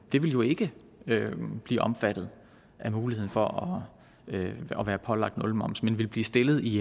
det vil jo ikke blive omfattet af muligheden for at være pålagt nulmoms men vil blive stillet i